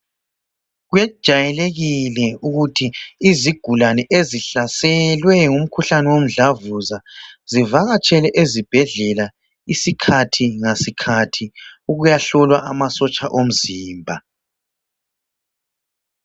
Kwejayelekile ukuthi izigulane ezihlaselwe ngumkhuhlane womdlavuza zivakatshele ezibhedlela isikhathi ngasikhathi ukuyahlolwa amasotsha omzimba.